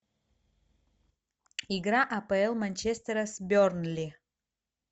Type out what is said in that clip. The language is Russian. игра апл манчестера с бернли